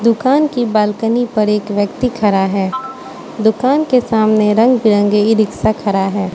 दुकान को बालकनी पर एक व्यक्ति खड़ा है दुकान के सामने रंग बिरंगे इ रिक्शा खड़ा है।